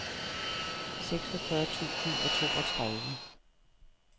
seksogfyrre tusind og toogtredive